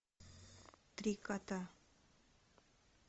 три кота